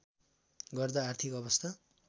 गर्दा आर्थिक अवस्था